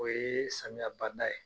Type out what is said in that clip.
O ye samiya banda ye.